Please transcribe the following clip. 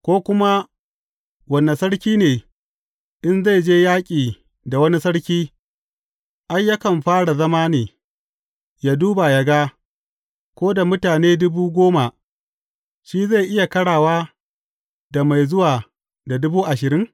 Ko kuma, wane sarki ne, in zai je yaƙi da wani sarki, ai, yakan fara zama ne, ya duba ya ga, ko da mutane dubu goma, shi zai iya ƙarawa da mai zuwa da dubu ashirin?